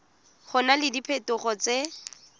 go na le diphetogo tse